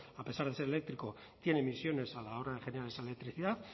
a pesar de ser eléctrico tiene emisiones a la hora de generar esa electricidad